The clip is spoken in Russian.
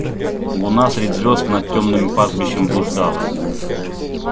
луна средь звёзд над тёмным пастбищем блуждала